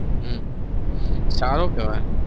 હમ સારું કેવાય